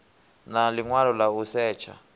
na ḽiṅwalo ḽa u setsha